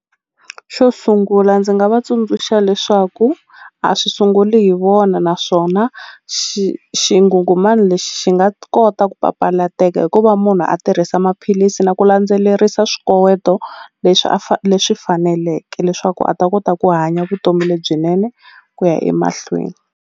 Xo sungula ndzi nga va tsundzuxa leswaku a swi sunguli hi vona naswona xingungumani lexi xi nga kota ku papalateka ku va munhu a tirhisa maphilisi na ku landzelerisa swikoweto leswi a leswi faneleke leswaku a ta kota ku hanya vutomi lebyinene ku ya emahlweni.